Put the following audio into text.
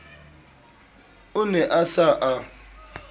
o ne a sa a